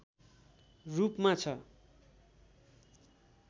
रूपमा छ